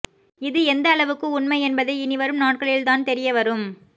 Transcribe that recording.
இது எந்த அளவுக்கு உண்மை என்பதை இனி வரும் நாட்களில் தான் தெரிய வரும்